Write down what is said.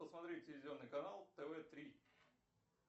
посмотреть телевизионный канал тв три